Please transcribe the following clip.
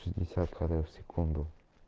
шестьдесят кадров в секунду